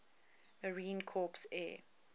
marine corps air